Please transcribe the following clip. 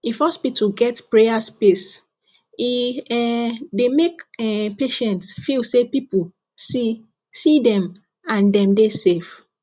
if hospital get prayer space e um dey make um patients feel say people see see dem and dem dey safe